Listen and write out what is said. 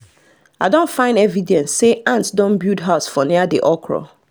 i don find evidence say ant don build house for near the okra